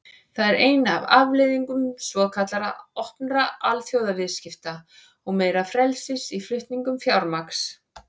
Það er ein af afleiðingum svokallaðra opnari alþjóðaviðskipta og meira frelsis í flutningum fjármagns.